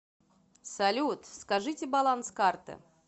салют скажите баланс карты